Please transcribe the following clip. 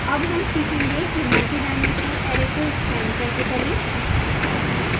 अब हम सीखेंगे कि multidimensional array को scan कैसे करें